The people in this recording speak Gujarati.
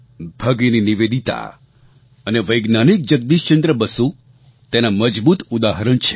ભગિની નિવેદિતા અને વૈજ્ઞાનિક જગદીશચંદ્ર બસુ તેનાં મજબૂત ઉદાહરણ છે